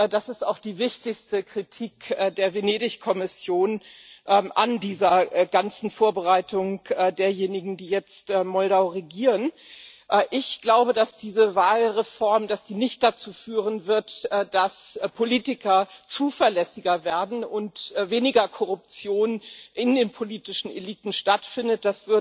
Das ist auch die wichtigste Kritik der Venedig Kommission an dieser ganzen Vorbereitung derjenigen, die jetzt Moldau regieren. Ich glaube, dass diese Wahlreform nicht dazu führen wird, dass Politiker zuverlässiger werden und weniger Korruption in den politischen Eliten stattfindet.